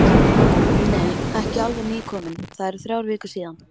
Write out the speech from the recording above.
Nei, ekki alveg nýkominn, það eru þrjár vikur síðan.